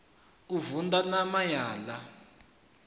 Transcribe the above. u vunḓa ṋama ya ḽa